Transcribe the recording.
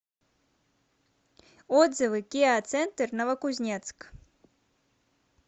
отзывы киа центр новокузнецк